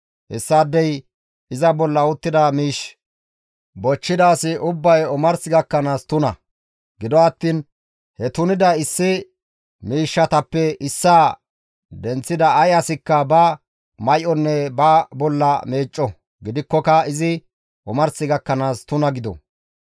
hessaadey iza bolla uttida miish bochchida asi ubbay omars gakkanaas tuna; gido attiin he tunida issi miishshatappe issaa denththida ay asikka ba may7onne ba bolla meecco; gidikkoka izi omars gakkanaas tuna gido.